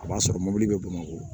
A b'a sɔrɔ mobili bɛ bamakɔ